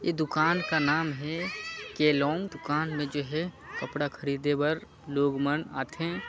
ए दुकान के नाम है केलांग दुकान में जो है कपड़ा खरीदे बर लोग मन आथे--